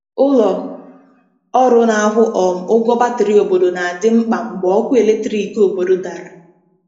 Ụlọ ọrụ na-akwụ um ụgwọ batrị obodo na-adị mkpa mgbe ọkụ eletrik obodo dara.